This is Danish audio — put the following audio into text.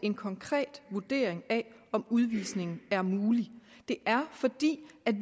en konkret vurdering af om udvisning er mulig det er fordi